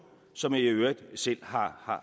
som jeg i øvrigt selv